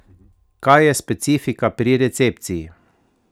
Kaj je specifika pri recepciji?